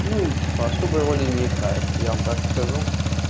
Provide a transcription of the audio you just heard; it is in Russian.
ну типа особой роли не играет я вам так скажу